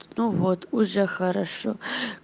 ну вот уже хорошо